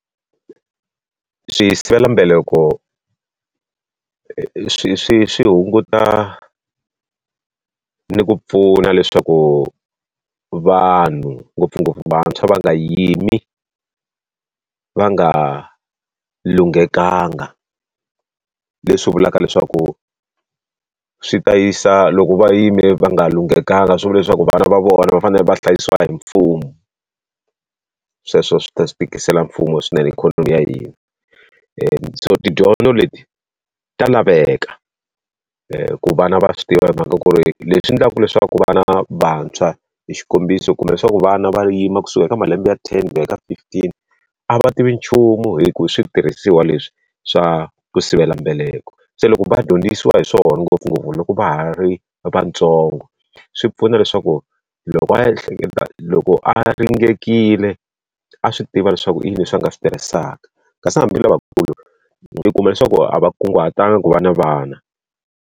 Swisivelambeleko swi swi swi hunguta ni ku pfuna leswaku vanhu ngopfungopfu vantshwa va nga yimi va nga lunghekangi, leswi vulaka leswaku swi ta yisa loko va yime va nga lunghekangi swi vula leswaku vana va vona va fanele va hlayisiwa hi mfumo. Sweswo swi ta swi tikisela mfumo swinene ikhonomi ya hina. so tidyondzo leti ta laveka ku vana va swi tiva hi mhaka ku ri leswi endlaka leswaku vana vantshwa hi xikombiso kumbe swa ku vana va yima kusuka eka malembe ya ten va eka fifteen, a va tivi nchumu hi ku hi switirhisiwa leswi swa ku sivela mbeleko. Se loko va dyondzisiwa hi swona ngopfungopfu loko va ha ri vantsongo, swi pfuna leswaku loko a loko a ringekile a swi tiva leswaku i yini leswi va nga swi tirhisaka. Kasi hambi lavakulu i kuma leswaku a va kunguhataga ku va na vana.